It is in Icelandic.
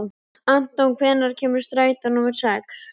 Anton, hvenær kemur strætó númer sex?